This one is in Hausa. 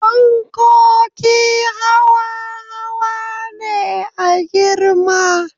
Fankoki hawa hawa ne a girma